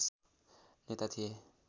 नेता थिए